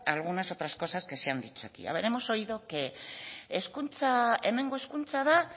a algunas otras cosas que se han dicho aquí hemos oído aquí hemengo hezkuntza da